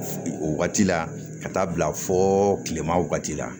O wagati la ka taa bila fo kilema wagati la